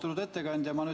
Austatud ettekandja!